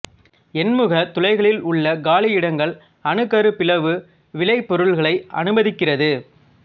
எண்முக துளைகளில் உள்ள காலியிடங்கள் அணுக்கரு பிளவு விளைபொருள்களை அனுமதிக்கிறது